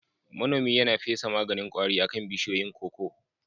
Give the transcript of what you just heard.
Manomin yana fesa maganin kwari akan bishiyoyin koko